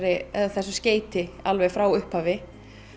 þessu skeyti alveg frá upphafi